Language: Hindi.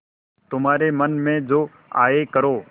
तुम्हारे मन में जो आये करो